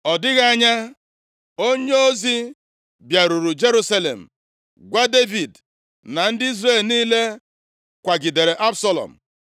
Ọ dịghị anya, onyeozi bịaruru Jerusalem gwa Devid na ndị Izrel niile kwagidere Absalọm.